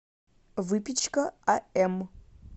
выпечка ам